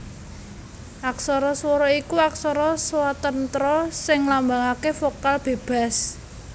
Aksara swara iku aksara swatantra sing nglambangaké vokal bébas